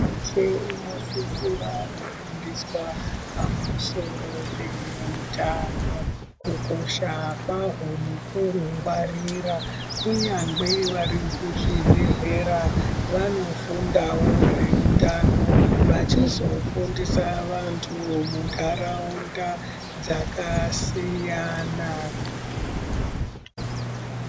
Se unosisira kufundiswa pamusoro peutano kukosha kwahwo nekuhungwarira kunyangwe vari kuzvibhedhlera vanofundawo zveutano vachizofundisa vantu muntaraunda dzakasiyana.